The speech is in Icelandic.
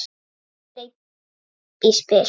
Eða greip í spil.